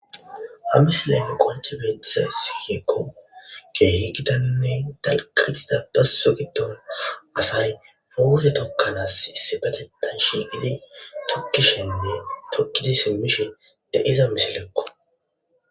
Ha missile qonici betizayissi woyikko kehi gitanne dalga gidida doso gidon asay muze tokanas issipeteththan shiqidi tokishshene toki simishin de'iza misilekko